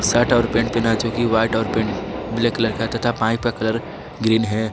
Shirt और pant पहना जो की व्हाइट और पैंट ब्लैक कलर का है तथा पाइप का कलर ग्रीन है।